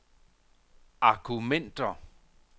argumenter